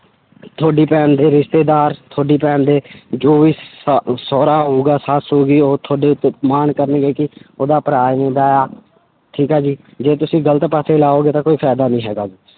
ਤੁਹਾਡੀ ਭੈਣ ਦੇ ਰਿਸ਼ਤੇਦਾਰ ਤੁਹਾਡੀ ਭੈਣ ਦੇ ਜੋ ਵੀ ਸਾ~ ਸਾਹੁਰਾ ਹੋਊਗਾ ਸੱਸ ਹੋ ਗਈ ਉਹ ਤੁਹਾਡੇ ਉੱਤੇ ਮਾਣ ਕਰਨਗੇ ਕਿ ਉਹਦਾ ਭਰਾ ਠੀਕ ਆ ਜੀ, ਜੇ ਤੁਸੀਂ ਗ਼ਲਤ ਪਾਸੇ ਲਾਓਗੇ ਤਾਂ ਕੋਈ ਫ਼ਾਇਦਾ ਨੀ ਹੈਗਾ।